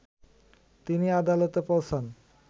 তিনি আদালতে পৌঁছান